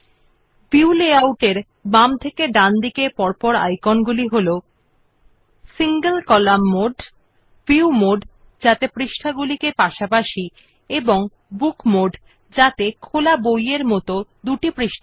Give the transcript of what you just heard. the view layout icons from left to right are as follows single column mode view mode with pages side by side and book mode with two pages as in an open book